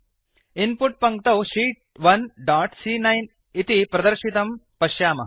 in put पङ्क्तौ sheet 1 dot सी॰॰9 इति प्रदर्शितं पश्यामः